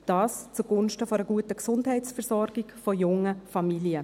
Dies zugunsten einer guten Gesundheitsversorgung von jungen Familien.